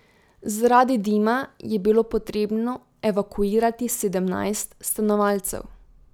Zaradi dima je bilo potrebno evakuirati sedemnajst stanovalcev.